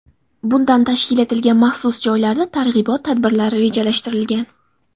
Bunda tashkil etilgan maxsus joylarda targ‘ibot tadbirlari rejalashtirilgan.